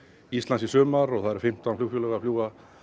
Íslands í sumar og það eru fimmtán flugfélög að fljúga